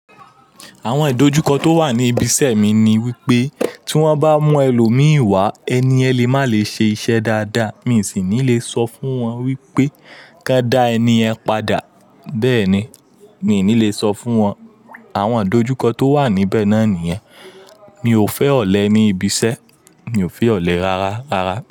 Àwọn ìdojúkọ tó wà ní ibi iṣẹ́ mi ni wípé tí wón bá mú ẹlòmíì wá, ẹni yẹ lè má lè ṣe iṣẹ́ dáadáa. Mí sì ní lè sọ fún wọn wípé ko n dá ẹni yẹn padà. Bẹ́ẹ̀ ni, mi ò ní lè sọ fún wọn àwọn ìdojúkọ tó wà níbẹ̀ náà nìyẹn. Mi ò fẹ́ ọ̀lẹ ní ibi iṣẹ́, mi ò fẹ́ ọ̀lẹ rárá, rárá.